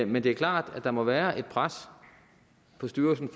men det er klart at der må være et pres på styrelsen